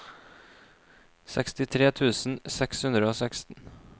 sekstitre tusen seks hundre og seksten